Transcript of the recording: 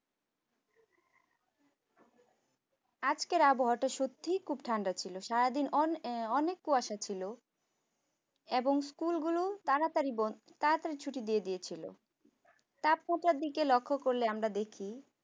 আজকের আবহাওয়াটা সত্যি খুব ঠান্ডা ছিল সারাদিন অন এ অনেক কুয়াশা ছিল এবং school গুলো তাড়াতাড়ি বন তাড়াতাড়ি ছুটি দিয়ে দিয়েছিল তাপমাত্রা দেখে লক্ষ্য করলে আমরা দেখি।